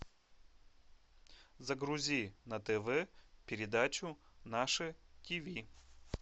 загрузи на тв передачу наше тв